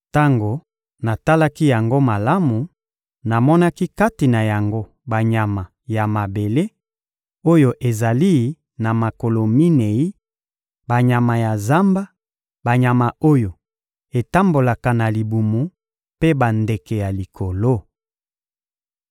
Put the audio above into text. Tango natalaki yango malamu, namonaki kati na yango banyama ya mabele, oyo ezali na makolo minei; banyama ya zamba, banyama oyo etambolaka na libumu mpe bandeke ya likolo.